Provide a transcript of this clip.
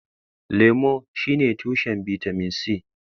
Lemu shine tushen bitamin C.